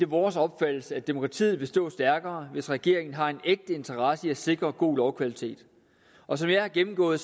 vores opfattelse at demokratiet vil stå stærkere hvis regeringen har en ægte interesse i at sikre god lovkvalitet og som jeg har gennemgået